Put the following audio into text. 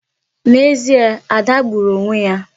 N'ezie, Ada gbùrù onwe ya.